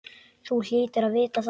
Þú hlýtur að vita það.